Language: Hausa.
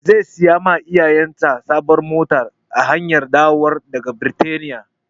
Zai sai wa iyayesa sabuwar mota a hanyar dawowarsa daga Birtaniya.